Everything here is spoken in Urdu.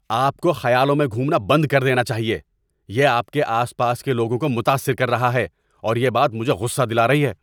آپ کو خیالوں میں گھومنا بند کر دینا چاہیے۔ یہ آپ کے آس پاس کے لوگوں کو متاثر کر رہا ہے اور یہ بات مجھے غصہ دلا رہی ہے۔